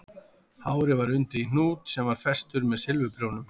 Hárið var undið í hnút sem var festur með silfurprjónum